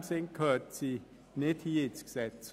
In diesem Sinne gehört sie nicht in dieses Gesetz.